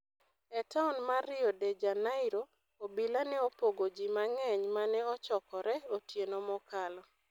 E taon mar Rio de Janeiro, obila ne opogo ji mang'eny ma ne ochokore otieno mokalo.